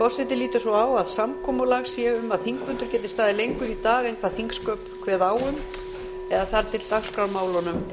forseti lítur svo á að samkomulag sé um að þingfundur geti staðið lengur í dag en þingsköp kveður á um eða þar til dagskrármálunum